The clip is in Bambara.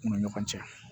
U ni ɲɔgɔn cɛ